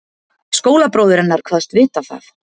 Skólabróðir hennar kvaðst vita það.